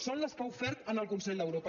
són les que ha ofert en el consell d’europa